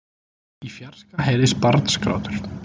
Í fjarska heyrðist barnsgrátur.